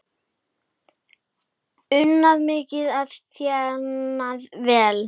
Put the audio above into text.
Unnið mikið og þénað vel.